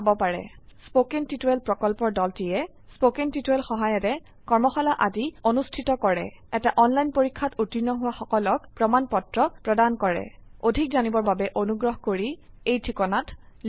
কথন শিক্ষণ প্ৰকল্পৰ দলটিয়ে কথন শিক্ষণ সহায়িকাৰে কৰ্মশালা আদি অনুষ্ঠিত কৰে এটা অনলাইন পৰীক্ষাত উত্তীৰ্ণ হোৱা সকলক প্ৰমাণ পত্ৰ প্ৰদান কৰে অধিক জানিবৰ বাবে অনুগ্ৰহ কৰি contactspoken tutorialorg এই ঠিকনাত লিখক